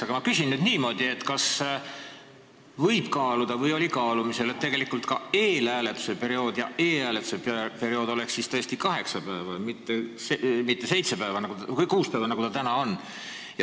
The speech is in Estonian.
Aga ma küsin, kas võib kaaluda või kas oli kaalumisel, et eelhääletuse ja e-hääletuse periood oleks tõesti kaheksa päeva, mitte kuus päeva.